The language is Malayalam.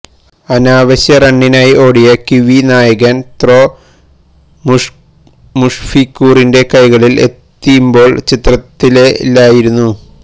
അനാവശ്യ റണ്ണിനായി ഓടിയ കിവി നായകന് ത്രോ മുഷ്ഫീഖുറിന്റെ കെെകളില് എത്തിമ്പോള് ചിത്രത്തിലെ ഇല്ലായിരുന്നു